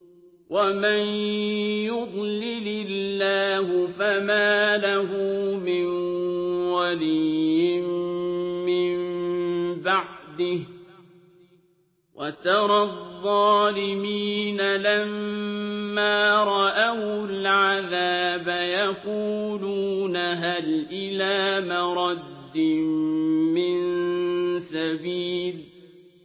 وَمَن يُضْلِلِ اللَّهُ فَمَا لَهُ مِن وَلِيٍّ مِّن بَعْدِهِ ۗ وَتَرَى الظَّالِمِينَ لَمَّا رَأَوُا الْعَذَابَ يَقُولُونَ هَلْ إِلَىٰ مَرَدٍّ مِّن سَبِيلٍ